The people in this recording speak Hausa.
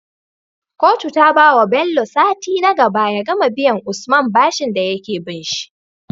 Kotun ta bawa Bello sati nagaba ya gama biyan usman bashin dayake binshi